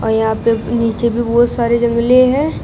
यहां पे नीचे भी बहुत सारे जंगले हैं।